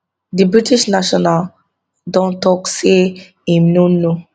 di british national don tok say im no know